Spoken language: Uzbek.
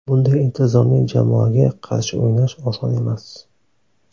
Bunday intizomli jamoaga qarshi o‘ynash oson emas.